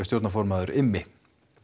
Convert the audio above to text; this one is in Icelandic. stjórnarformaður Immi